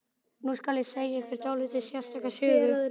Nú skal segja ykkur dálítið sérstaka sögu.